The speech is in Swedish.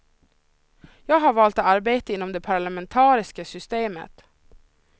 Jag har valt att arbeta inom det parlamentariska systemet.